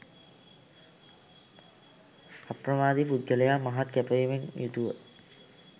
අප්‍රමාදී පුද්ගලයා මහත් කැපවීමෙන් යුතුව